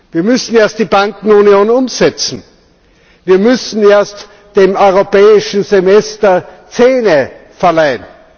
Wir müssen erst die Bankenunion umsetzen, wir müssen erst dem Europäischen Semester Zähne verleihen.